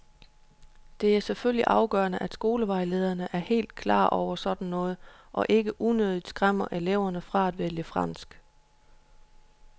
Det er selvfølgelig afgørende, at skolevejlederne er helt klare over sådan noget og ikke unødigt skræmmer elever fra at vælge fransk.